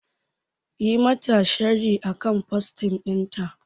Yi mata sharhi akan post ɗinta